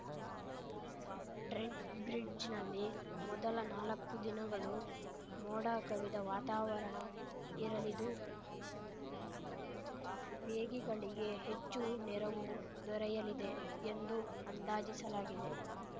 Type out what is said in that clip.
ಟ್ರೆಂಟ್‌ಬ್ರಿಡ್ಜ್‌ನಲ್ಲಿ ಮೊದಲ ನಾಲಕ್ಕು ದಿನಗಳು ಮೋಡ ಕವಿದ ವಾತಾವರಣ ಇರಲಿದು ವೇಗಿಗಳಿಗೆ ಹೆಚ್ಚು ನೆರವು ದೊರೆಯಲಿದೆ ಎಂದು ಅಂದಾಜಿಸಲಾಗಿದೆ